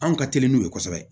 Anw ka teli n'o ye kosɛbɛ